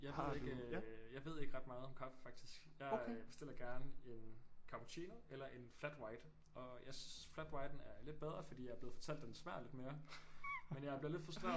Jeg ved ikke øh jeg ved ikke ret meget om kaffe faktisk jeg bestiller gerne en cappuccino eller en flat white og jeg synes flat whiten er lidt bedre